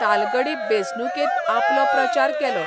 तालगडी बेंचणुकेंत आपलो प्रचार केलो.